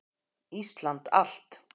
Íslandi allt!